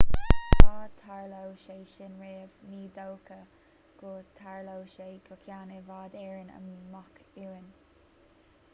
ach dá dtarlódh sé sin riamh ní dócha go dtarlódh sé go ceann i bhfad éireann amach uainn